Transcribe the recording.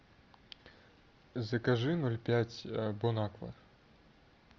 закажи ноль пять бонаква